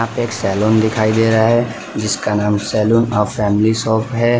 एक सैलून दिखाई दे रहा है जिसका नाम सैलून अ फैमिली शॉप है।